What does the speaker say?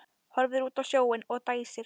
Horfir út á sjóinn og dæsir.